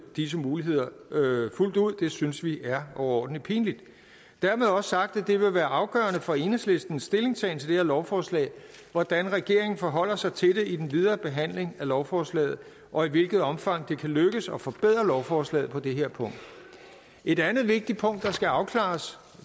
disse muligheder fuldt ud det synes vi er overordentlig pinligt dermed også sagt at det vil være afgørende for enhedslistens stillingtagen til det her lovforslag hvordan regeringen forholder sig til det i den videre behandling af lovforslaget og i hvilket omfang det kan lykkes at forbedre lovforslaget på det her punkt et andet vigtigt punkt der skal afklares